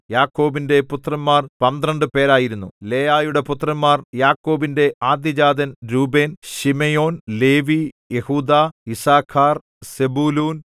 യാക്കോബിന്റെ പുത്രന്മാർ പന്ത്രണ്ട് പേരായിരുന്നു ലേയായുടെ പുത്രന്മാർ യാക്കോബിന്റെ ആദ്യജാതൻ രൂബേൻ ശിമെയോൻ ലേവി യെഹൂദാ യിസ്സാഖാർ സെബൂലൂൻ